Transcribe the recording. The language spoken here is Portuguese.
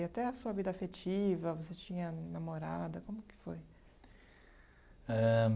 E até a sua vida afetiva, você tinha namorada, como que foi? Ãh